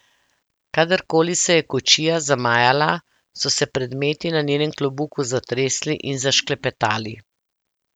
Kadarkoli se je kočija zamajala, so se predmeti na njenem klobuku zatresli in zašklepetali.